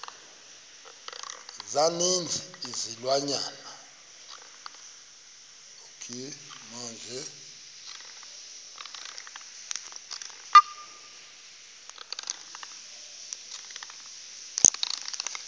za ninzi izilwanyana